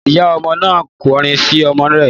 Ìyá ọmọ náà ń kọrin sí ọmọ rẹ̀